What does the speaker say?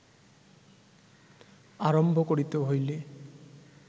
আরম্ভ করিতে হইলে